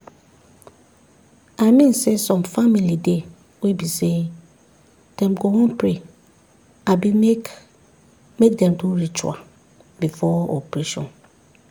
i mean saysome family dey wey be say dem go wan pray abi make make dem do ritual before operation.